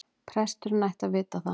Presturinn ætti að vita það.